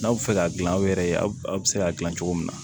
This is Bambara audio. N'aw bɛ fɛ ka gilan aw yɛrɛ ye aw bɛ se k'a dilan cogo min na